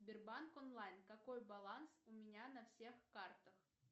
сбербанк онлайн какой баланс у меня на всех картах